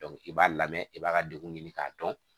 i b'a lamɛn i b'a ka degun ɲini k'a dɔn